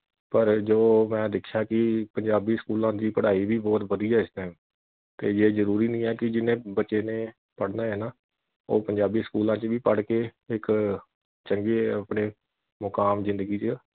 ਪਰ ਜੋ ਮੈਂ ਦੇਖਿਆ ਕਿ ਪੰਜਾਬੀ ਸਕੂਲਾਂ ਦੀ ਪੜਾਈ ਵੀ ਬਹੁਤ ਵਧੀਆਂ ਇਸ time ਤੇ ਜੇ ਜਰੂਰੀ ਨਹੀਂ ਹੈ ਕਿ ਜਿੰਨੇ ਬੱਚੇ ਨੇ ਪੜਨਾ ਐ ਨਾ ਉਹ ਪੰਜਾਬੀ ਸਕੂਲਾਂ ਵਿਚ ਵੀ ਪੜ ਕੇ ਇਕ ਚੰਗੇ ਆਪਣੇ ਮੁਕਾਮ ਜਿੰਦਗੀ ਵਿਚ